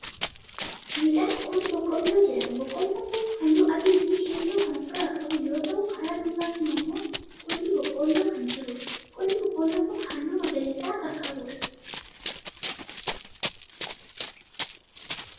Midhaan kuni boqqolloo jedhama. Boqqollon kuni haalluu adii fi keelloo kan of irraa qabu yoo ta'u, kara duubatiin ammoo qolli boqqoolloo kan jiruudha. Qolli boqqolloo kuni haalluu magariisa kan qabuudha.